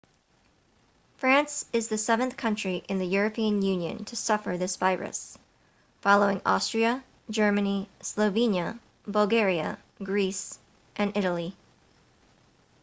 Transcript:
france is the seventh country in the european union to suffer this virus following austria germany slovenia bulgaria greece and italy